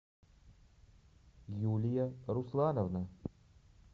юлия руслановна